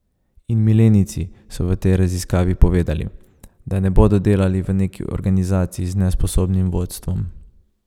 In milenijci so v tej raziskavi povedali, da ne bodo delali v neki organizaciji z nesposobnim vodstvom.